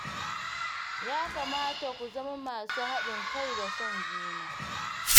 Ya kamata ku zama masu haɗin kai da son juna.